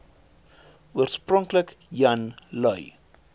oorspronklik jan lui